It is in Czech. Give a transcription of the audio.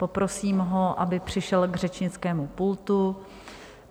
Poprosím ho, aby přišel k řečnickému pultu.